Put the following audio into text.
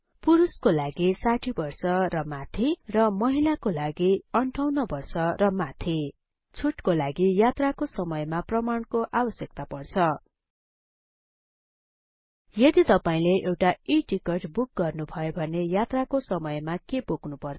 पुरुषको लागि ६० बर्ष र माथि र महिलाको लागि ५८ वर्ष र माथि छुटको लागि यात्राको समयमा प्रमाणको आवश्यकता पर्छ यदि तपाईले एउटा E टिकट बुक गर्नुभयो भने यात्रा को समयमा के बोक्नुपर्छ